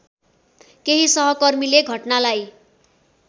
केही सहकर्मीले घटनालाई